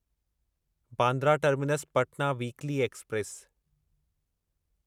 Bandra terminus Patna weekly express